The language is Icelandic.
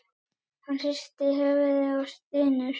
Hann hristir höfuðið og stynur.